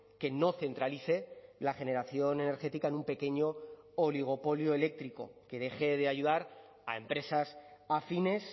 que no centralice la generación energética en un pequeño oligopolio eléctrico que deje de ayudar a empresas afines